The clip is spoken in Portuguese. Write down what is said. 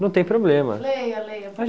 Não tem problema. Leia leia